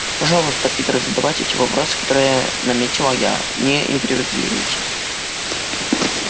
пожалуйста питер задавайте те вопросы которые ээ наметила я и не импровизируйте